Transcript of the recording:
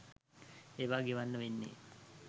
ඒවා ගෙවන්න වෙන්නේ